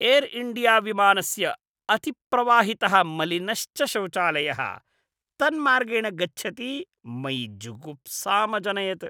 Air India विमानस्य अतिप्रवाहितः मलिनश्च शौचालयः तन्मार्गेण गच्छति मयि जुगुप्सामजनयत्।